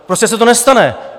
Prostě se to nestane.